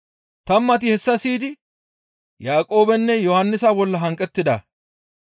Tammati hessa siyidi Yaaqoobenne Yohannisa bolla hanqettida.